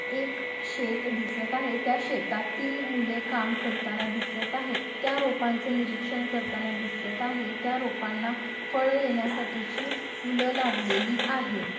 एक शेत दिसत आहे त्या शेतात तीन मुले काम करताना दिसत आहे त्या रोपांच निरीक्षण करताना दिसत आहेत त्या रोपांना फळ येण्यासाठीची फूल लागलेली आहेत.